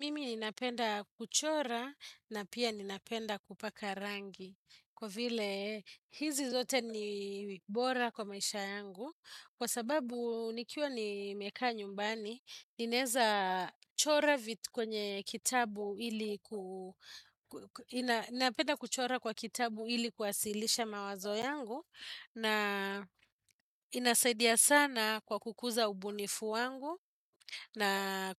Mimi ninapenda kuchora na pia ninapenda kupaka rangi kwa vile hizi zote ni bora kwa maisha yangu kwa sababu nikiwa nimekaa nyumbani, Ninaeza chora vitu kwenye kitabu ili kuasilisha mawazo yangu na inasaidia sana kwa kukuza ubunifu wangu na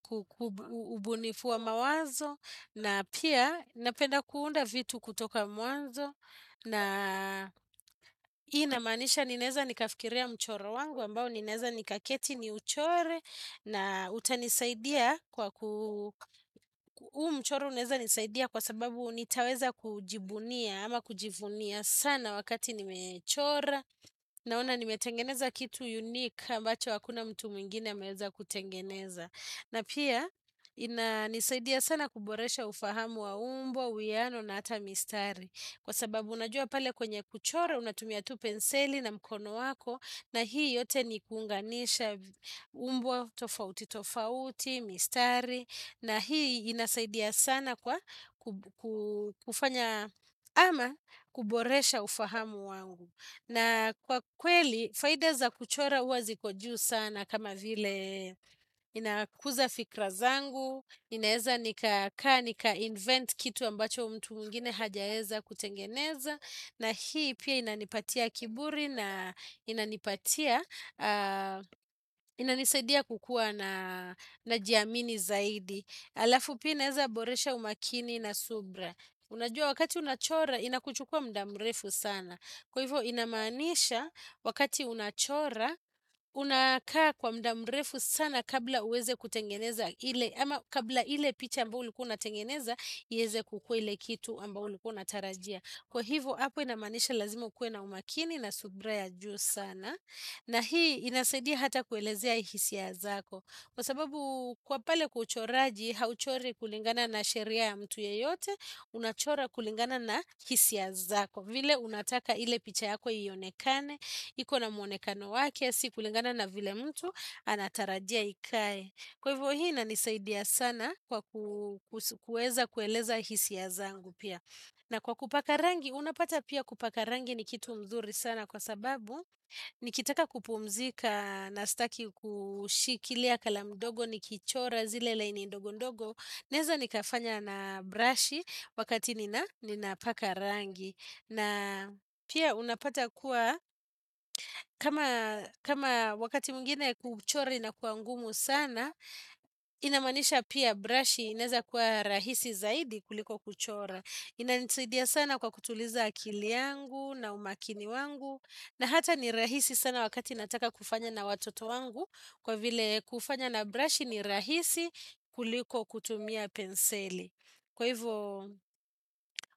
ubunifu wa mawazo na pia napenda kuunda vitu kutoka mwanzo na inamanisha nineza nikafikiria mchoro wangu ambao ninaeza nikaketi ni uchore na utanisaidia kwa huu mchoro uneza nisaidia kwa sababu nitaweza kujibunia ama kujivunia sana wakati nimechora naona nimetengeneza kitu unique ambacho hakuna mtu mingine ameweza kutengeneza na pia inanisaidia sana kuboresha ufahamu wa umbo, uiano na ata mistari kwa sababu unajua pale kwenye kuchora unatumia tu penseli na mkono wako na hii yote ni kuunganisha umbo tofauti tofauti, mistari na hii inasaidia sana kwa kufanya ama kuboresha ufahamu wangu na kwa kweli faida za kuchora uwa ziko juu sana kama vile inakuza fikra zangu ninaeza nikakaa, nika invent kitu ambacho mtu mwingine hajaeza kutengeneza na hii pia inanipatia kiburi na inanipatia inanisaidia kukua na najiamini zaidi alafu pina inaeza boresha umakini na subra Unajua wakati unachora inakuchukua mda mrefu sana Kwa hivo inamanisha wakati unachora unakaa kwa mda mrefu sana kabla uweze kutengeneza ama kabla ile picha ambao ulikua unatengeneza, ieze kukua ile kitu ambao ulikua unatarajia Kwa hivo hapo inamaanisha lazima ukue na umakini na subra ya juu sana na hii inasaidia hata kuelezea hisia zako Kwa sababu kwa pale kwa uchoraji hauchori kulingana na sheria ya mtu yeyote Unachora kulingana na hisia zako vile unataka ile picha yako ionekane iko na mwonekano wake si kulingana na vile mtu anatarajia ikae Kwa hivo hii inanisaidia sana kwa kueza kueleza hisia zangu pia na kwa kupaka rangi, unapata pia kupaka rangi ni kitu mzuri sana kwa sababu, nikitaka kupumzika na staki kushikilia kalamu dogo nikichora zile laini ndogo ndogo, naeza nikafanya na brashi wakati ninapaka rangi. Na pia unapata kuwa, kama wakati mwingine kuchora inakua ngumu sana, inamanisha pia brashi ineza kuwa rahisi zaidi kuliko kuchora. Inanisaidia sana kwa kutuliza akili yangu na umakini wangu, na hata ni rahisi sana wakati nataka kufanya na watoto wangu, kwa vile kufanya na brashi ni rahisi kuliko kutumia penseli. Kwa hivyo,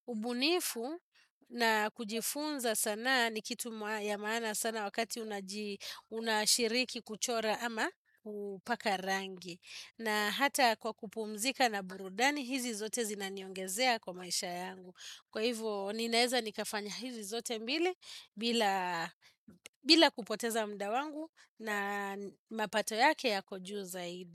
ubunifu na kujifunza sanaa ni kitu mwa ya maana sana wakati unashiriki kuchora ama upaka rangi. Na hata kwa kupumzika na burudani, hizi zote zinaniongezea kwa maisha yangu. Kwa hivyo, ninaeza nikafanya hizi zote mbili bila kupoteza mda wangu na mapato yake yako juu zaidi.